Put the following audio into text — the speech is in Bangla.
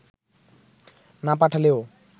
না পাঠালেও